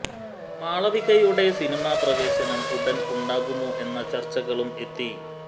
മാളവികയുടെ cinema പ്രേവേശവും ഉടന് ഉണ്ടാകുമോ എന്ന ചര്ച്ചകളും എത്തി